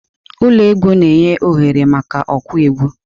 Ụlọ egwu na-enye oghere maka okwu egwu.